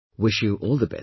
Wish you all the best